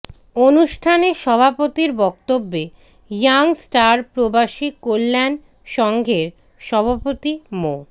অনুষ্ঠানে সভাপতির বক্তব্যে ইয়ং স্টার প্রবাসী কল্যাণ সংঘের সভাপতি মো